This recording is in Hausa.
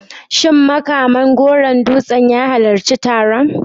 Shin Makaman Goron Dutse ya halarci taron?